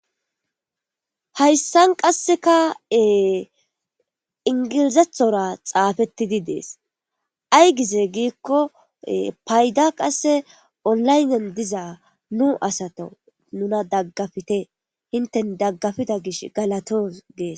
hayssan qasseka ingilizethora xaafettidi dees ay gize giikko payda qasse olaynen diza nu asato nuna daggafite hinten daggafida gish galatos gees.